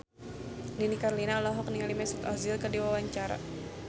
Nini Carlina olohok ningali Mesut Ozil keur diwawancara